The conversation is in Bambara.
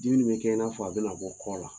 Dimin bɛ kɛ in'a fɔ a bɛna na bɔ kɔ la